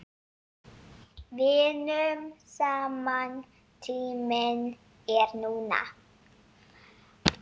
Vinnum saman Tíminn er núna.